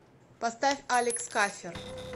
поставь алекс кафер